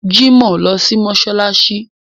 Jimoh lọ sí mọ́ṣáláṣí